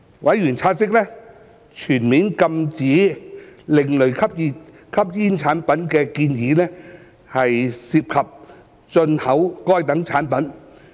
委員察悉，全面禁止另類吸煙產品的建議涉及禁止進口該等產品。